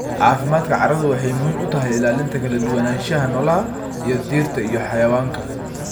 Caafimaadka carradu waxay muhiim u tahay ilaalinta kala duwanaanshaha noolaha ee dhirta iyo xayawaanka.